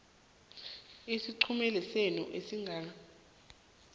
esiqhemeni senu ehlanganwenenu